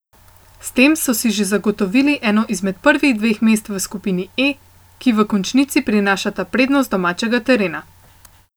S tem so si že zagotovili eno izmed prvih dveh mest v skupini E, ki v končnici prinašata prednost domačega terena.